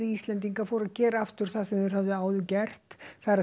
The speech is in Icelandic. Íslendingar fóru að gera aftur það sem þeir höfðu áður gert